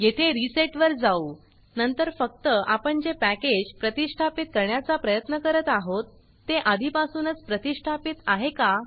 येथे रिसेट वर जाऊनंतर फक्त आपण जे पॅकेज प्रतिष्ठापीत करण्याचा प्रयत्न करत आहोत ते आधीपासूनच प्रतिष्ठापीत आहे का